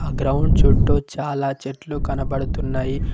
ఆ గ్రౌండ్ చుట్టూ చాలా చెట్లు కనబడుతున్నయి.